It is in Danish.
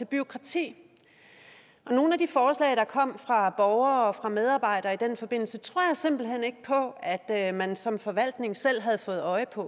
bureaukrati nogle af de forslag der kom fra borgere og fra medarbejdere i den forbindelse tror jeg simpelt hen ikke på at at man som forvaltning selv havde fået øje på